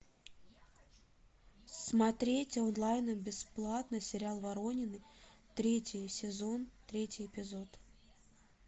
смотреть онлайн бесплатно сериал воронины третий сезон третий эпизод